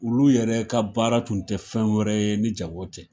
Olu yɛrɛ ka baara Kun tɛ fɛn wɛrɛ ye ni jago tɛ.